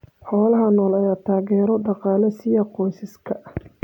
Xoolaha nool ayaa taageero dhaqaale siiya qoysaska.